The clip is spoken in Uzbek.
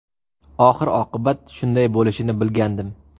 Oxir-oqibat shunday bo‘lishini bilgandim.